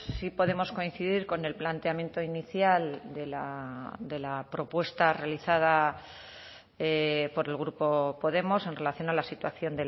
sí podemos coincidir con el planteamiento inicial de la propuesta realizada por el grupo podemos en relación a la situación